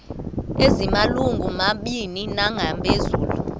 ezimalungu mabini nangaphezulu